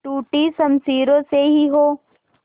टूटी शमशीरों से ही हो